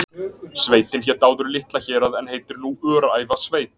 Sveitin hét áður Litla-Hérað en heitir nú Öræfasveit.